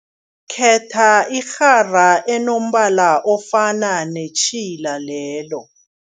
Khetha irhara enombala ofana netjhila lelo.